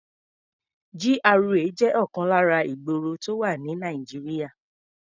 GRA jẹ́ ọ̀kan lára ìgboro tó wà ní Nàìjíríà.